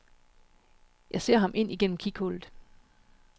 Jeg ser ham ind igennem kighullet.